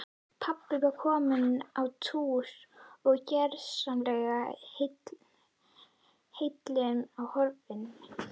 Pabbi var kominn á túr og gersamlega heillum horfinn.